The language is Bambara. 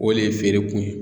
O le feere kun ye.